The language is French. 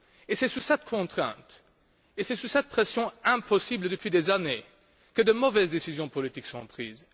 Et c'est sous cette contrainte et sous cette pression impossible, depuis des années, que de mauvaises décisions politiques sont prises.